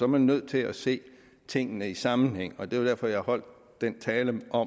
man nødt til at se tingene i en sammenhæng og det var derfor jeg holdt den tale hvor